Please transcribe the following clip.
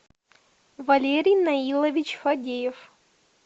валерий наилович фадеев